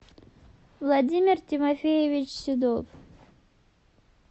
владимир тимофеевич седов